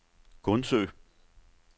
Gundsø